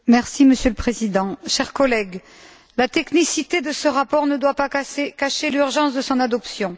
Monsieur le Président, chers collègues, la technicité de ce rapport ne doit pas cacher l'urgence de son adoption.